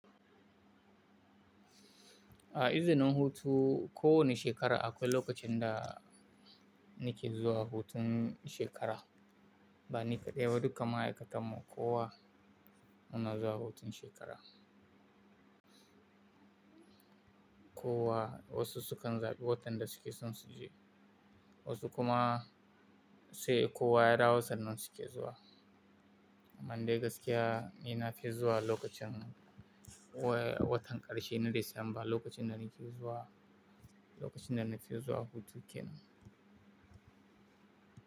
A izinin hutu ko wane shekara akwai lokacin da nake zuwa hutun shekara, ba ni kaɗai ba duka ma'aikata mu kowa muna zuwa hutun shekara. Kowa wasu su kan zaɓi watan da suke son su je, wasu kuma sai kowa ya dawo sannan su ke zuwa. Amma dai gaskiya ni na fi zuwa lokacin wa-watan ƙarshe na Disamba lokacin da nake zuwa, lokacin da na fi zuwa hutu kenan.